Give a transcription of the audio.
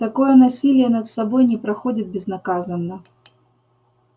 такое насилие над собой не проходит безнаказанно